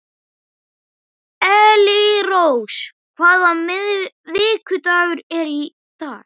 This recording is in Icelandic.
Elírós, hvaða vikudagur er í dag?